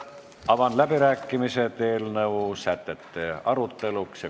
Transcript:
Avan läbirääkimised eelnõu sätete aruteluks.